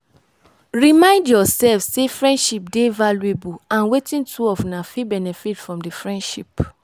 remind yourself sey friendship dey valuable and wetin two of una fit benefit from di friendship